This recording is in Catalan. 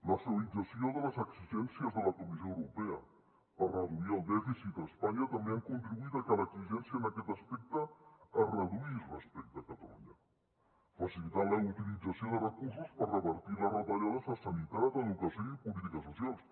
la suavització de les exigències de la comissió europea per reduir el dèficit a espanya també ha contribuït a que l’exigència en aquest aspecte es reduís respecte a catalunya facilitant la utilització de recursos per revertir les retallades a sanitat educació i polítiques socials